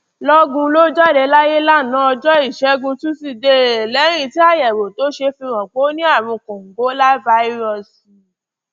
lọgun ló jáde láyé lánàá ọjọ ìṣẹgun túṣídéé lẹyìn tí àyẹwò tó ṣe fi hàn pé ó ní àrùn kòǹgóláfàírọọsì